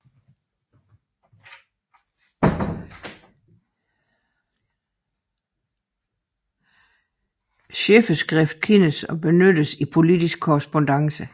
Chifferskrift kendtes og benyttedes i politisk korrespondance